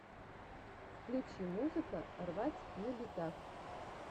включи музыка рвать на битах